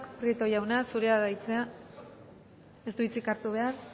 prieto jauna zurea da hitza ez du hitzik hartu behar